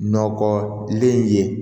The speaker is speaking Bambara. Nɔgɔlen ye